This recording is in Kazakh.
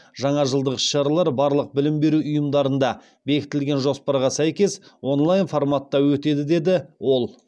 жаңа жылдық іс шаралар барлық білім беру ұйымдарында бекітілген жоспарға сәйкес онлайн форматта өтеді деді ол